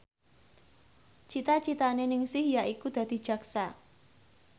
cita citane Ningsih yaiku dadi jaksa